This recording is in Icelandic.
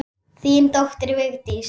Þín dóttir, Vigdís.